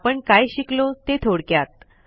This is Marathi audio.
आपण काय शिकलो ते थोडक्यात